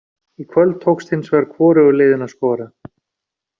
Í kvöld tókst hins vegar hvorugu liðinu að skora.